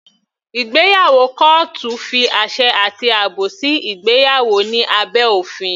Ìgbéyàwó kọ́ọ́tù fi àṣẹ àti àbò sí ìgbéyàwó ní abẹ́ òfin.